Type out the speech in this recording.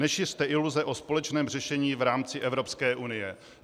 Nešiřte iluze o společném řešení v rámci Evropské unie.